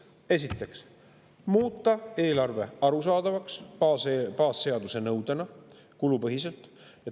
Esiteks, muuta eelarve arusaadavaks, baasseaduse nõudena, kulupõhiselt.